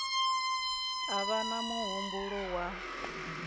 a vha na muhumbulo wa